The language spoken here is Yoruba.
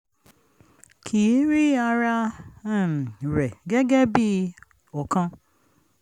kì í rí ara um rẹ̀ gẹ́gẹ́ bí ọ̀kan